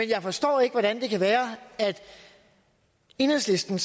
jeg forstår ikke hvordan det kan være at enhedslisten